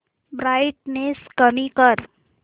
brightness कमी कर